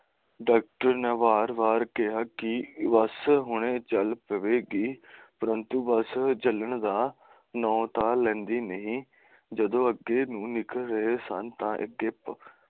doctor ਨੇ ਬਾਰ ਬਾਰ ਕਿਹਾ ਕਿ ਬੱਸ ਹੁਣੇ ਚੱਲ ਪਵੇਗੀ ਪਰ ਬੱਸ ਚੱਲਣ ਦਾ ਨਾਉ ਤਾਂ ਲੈਂਦੀ ਨਹੀਂ ਜਦੋਂ ਅੱਗੇ ਨਿਕਲ ਰਹੇ ਸਨ ਤਾਂ ਅੱਗੇ